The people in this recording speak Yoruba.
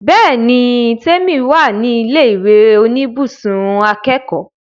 Bẹ́ẹ̀ni l, Tèmi wà ní ilé ìwé oníbùsùn akẹ́kọ̀ọ́